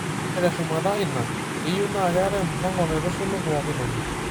Ore teshumata ina, keyiew naa keetae mpango naitushulu pooki toki.